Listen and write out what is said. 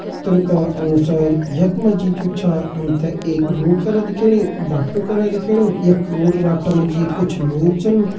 चित्र का अनुसार यख मा जी जु छा हम ते एक रोड करा दिखेणी बाटु करा दिखेणु यख रोड का बाटा मा जी कुछ लोग छन।